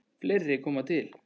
Fleira kom til.